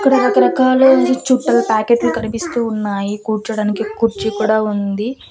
ఇక్కడ రకరకాలైనా చుట్టల ప్యాకెట్లు కనిపిస్తూ ఉన్నాయి కూర్చోడానికి కుర్చీ కూడా ఉంది.